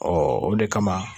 o de kama.